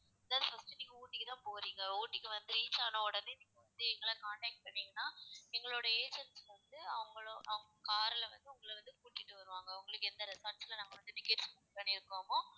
first நீங்க ஊட்டிக்கு தான் போறீங்க ஊட்டிக்கு வந்து reach ஆன உடனே நீங்க வந்து எங்களை contact பண்ணீங்கன்னா எங்களுடைய agents வந்து அவங்களோ~ அவங்க car ல வந்து உங்கள வந்து கூட்டிட்டு வருவாங்க உங்களுக்கு எந்த resorts ல நாங்க வந்து tickets book பண்ணி இருக்கோமோ